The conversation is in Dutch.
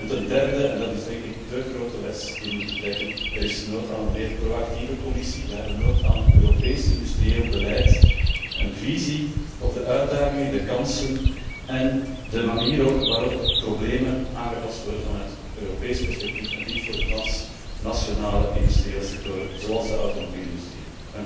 Ten derde en dat is, denk ik, de grote les die we moeten trekken er is nood aan een meer pro actieve Commissie, we hebben nood aan een Europees industrieel beleid, een visie op de uitdagingen, de kansen en de manier waarop problemen aangepakt worden vanuit Europees perspectief, en dit voor de transnationale industriële sectoren, zoals de automobielindustrie.